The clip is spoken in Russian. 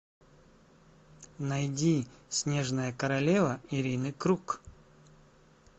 найди снежная королева ирины круг